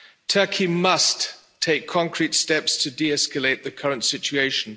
Turkey must take concrete steps to de-escalate the current situation.